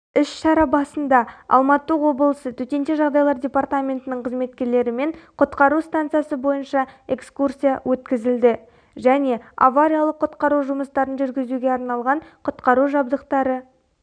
іс-шара басында алматы облысы төтенше жағдайлар департаментінің қызметкерлерімен құтқару станциясы бойынша экскурсия өткізілді және авариялық құтқару жұмыстарын жүргізуге арналған құтқару жабдықтары